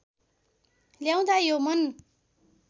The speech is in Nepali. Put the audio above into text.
ल्याउँदा यो मन